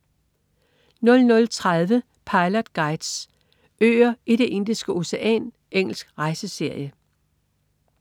00.30 Pilot Guides: Øer i Det indiske Ocean. Engelsk rejseserie